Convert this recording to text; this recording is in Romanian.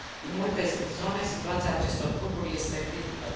În multe zone, situația acestor grupuri este critică.